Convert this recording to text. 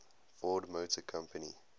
ford motor company